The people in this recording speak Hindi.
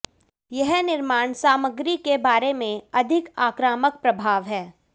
यह निर्माण सामग्री के बारे में अधिक आक्रामक प्रभाव है